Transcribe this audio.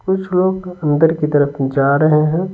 कुछ लोग अंदर की तरफ कू जा रहे हैं।